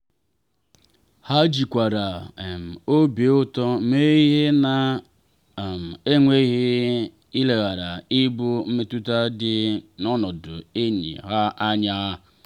ha jikwara um obi ụtọ mee ihe na um enweghị ileghara ibu mmetụta dị n'ọnọdụ enyi ha anya.